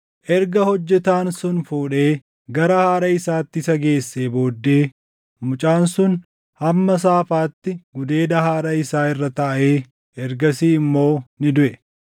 Erga hojjetaan sun fuudhee gara haadha isaati isa geessee booddee mucaan sun hamma saafaatti gudeeda haadha isaa irra taaʼee ergasii immoo ni duʼe.